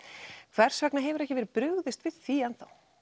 hvers vegna hefur ekki verið brugðist við því